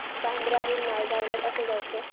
बांद्रा हून नायगाव ला कसं जायचं